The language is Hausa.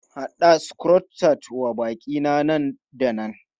Haɗa Croissant wa baƙi na nan da nan!